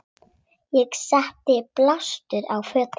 Ég setti blástur á fötin.